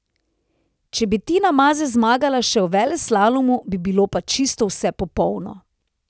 Če bi Tina Maze zmagala še v veleslalomu, bi bilo pa čisto vse popolno.